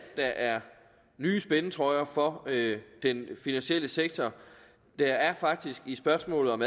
der er nye spændetrøjer for den finansielle sektor der er faktisk i spørgsmålet om